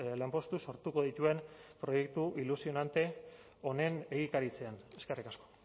lanpostu sortuko dituen proiektu ilusionante honen egikaritzean eskerrik asko